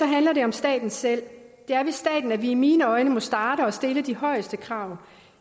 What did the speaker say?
handler det om staten selv det er i staten at vi i mine øjne må starte og stille de højeste krav